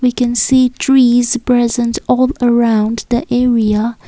we can see trees present all around the area.